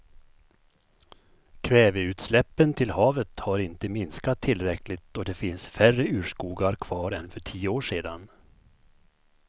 Kväveutsläppen till havet har inte minskat tillräckligt och det finns färre urskogar kvar än för tio år sedan.